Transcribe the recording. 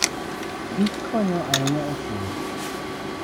kich konyo ahinya e pur.